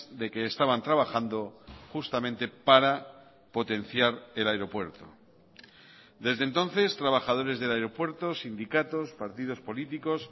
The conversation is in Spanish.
de que estaban trabajando justamente para potenciar el aeropuerto desde entonces trabajadores del aeropuerto sindicatos partidos políticos